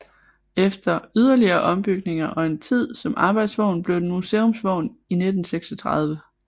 Efter yderligere ombygninger og en tid som arbejdsvogn blev den museumsvogn i 1936